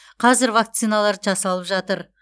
қазір вакциналар жасалып жатыр